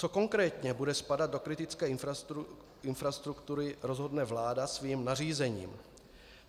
Co konkrétně bude spadat do kritické infrastruktury, rozhodne vláda svým nařízením.